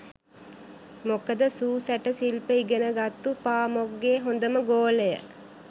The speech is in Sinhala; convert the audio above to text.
මොකද සූ සැට සිල්ප ඉගෙනගත්තු පාමොක්ගෙ හොඳම ගෝලය